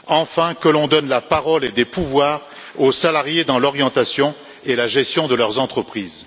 Enfin, que l'on donne la parole et des pouvoirs aux salariés dans l'orientation et la gestion de leurs entreprises.